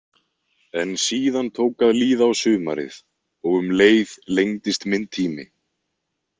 En síðan tók að líða á sumarið og um leið lengdist minn tími.